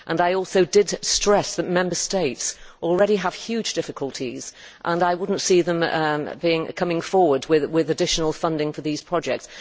I also did stress that Member States already have huge difficulties, and I could not see them coming forward with additional funding for these products.